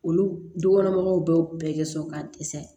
Olu du kɔnɔ mɔgɔw bɛɛ bɛ sɔrɔ ka dɛsɛ